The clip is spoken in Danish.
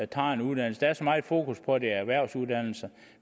tager en uddannelse der er så meget fokus på at det er erhvervsuddannelserne